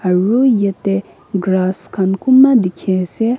aru yate grass khan kunba dikhi ase.